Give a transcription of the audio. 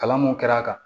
Kalan mun kɛra a kan